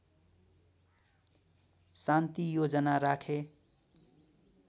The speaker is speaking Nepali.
शान्ति योजना राखे